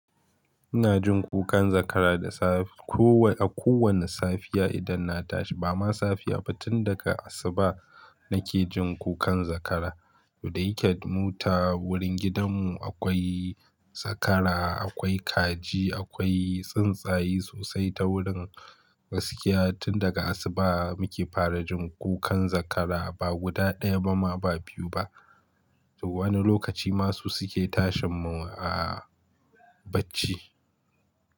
Ina jin kukan zakara da safe. Ko a kowane safiya idan na tashi, ba ma safiya ba tun daga asuba nake jin kukan zakara. Da yake mu ta wurin gidanmu akwai zakara, akwai kaji, akwai tsuntsaye sosai ta wurin, gaskiya. Tun daga asuba muke fara jin kukan zakara ba guda ɗaya ba ma ba biyu ba. Wani lokaci ma su suke tashin mu a bacci.